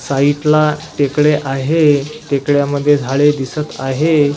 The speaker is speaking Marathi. साईडला तेकडे आहे तेकड्यामध्ये झाळे दिसत आहे.